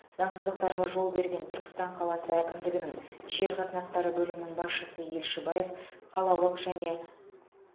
заңсыздықтарға жол берген түркістан қаласы әкімдігінің жер қатынастары бөлімінің басшысы елшібаев қалалық және